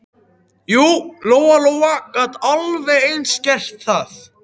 Jú, Lóa Lóa gat alveg eins gert það.